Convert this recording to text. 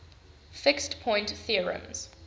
fixed point theorems